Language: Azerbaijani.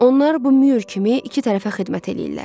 Onlar bu Mür kimi iki tərəfə xidmət eləyirlər.